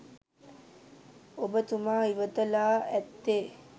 ඔබතුමා ඉවත ලා ඇත්තේ